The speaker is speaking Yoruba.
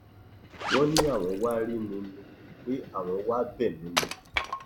wọn ní àwọn wàá rí mi ni pé àwọn wàá bẹ mí ni